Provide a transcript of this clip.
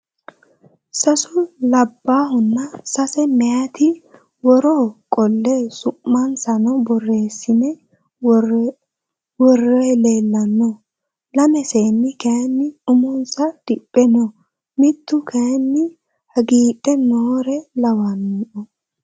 Sasu labbaahunna sase meyaati woroo qolle su'mansanno borreessine worroyiiri leellanno. Lame seenni kayii umonsa diphe no. Mitu kayii hagiidhe noore lawanno.